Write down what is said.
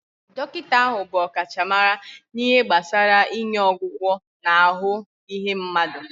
Dọkịta ahụ bụ ọkachamara na ihe gbasara inye ọgwụgwọ na ahụ ihe mmadụ